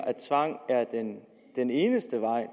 at tvang er den eneste vej